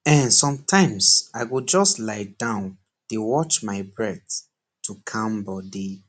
ehnsometimes i go just lie down dey watch my breath to calm body